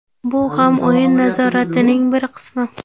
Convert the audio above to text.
Bu ham o‘yin nazoratining bir qismi.